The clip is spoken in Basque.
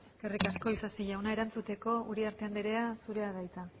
eskerrik asko isasi jauna erantzuteko uriarte andrea zurea da hitza